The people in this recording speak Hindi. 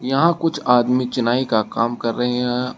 यहां कुछ आदमी चुनाई का काम कर रहे हैं।